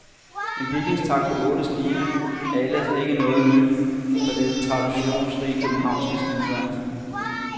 En bygningstakt på otte skibe er ellers ikke noget nyt for det traditionsrige, københavnske skibsværft.